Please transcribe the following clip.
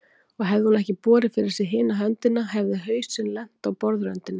Og hefði hún ekki borið fyrir sig hina höndina hefði hausinn lent á borðröndinni.